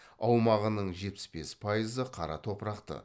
аумағының жетпіс бес пайызы қара топырақты